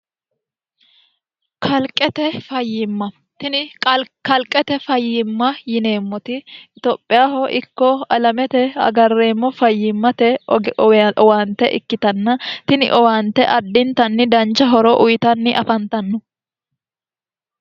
kalqete fayyimma tini kalqete fayyimma yineemmoti itophiyaho ikko alamete agarreemmo fayyimmate owaante ikkitanna tini owaante addintanni dancha horo uyitanni afantanno